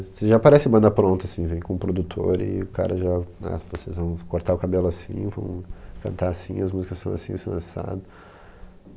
Você já aparece em banda pronta, assim, vem com o produtor e o cara já, ah, vocês vão cortar o cabelo assim, vão cantar assim, as músicas são assim, são assado